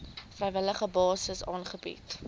vrywillige basis aangebied